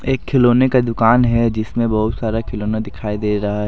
एक खिलौने का दुकान है जिसमें बहुत सारा खिलौना दिखाई दे रहा है ।